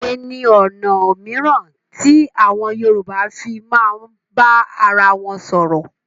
Òwe ni ọ̀nà mìíràn tí àwọn Yorùbá fii máa ń bá arawọn sọ̀rọ̀.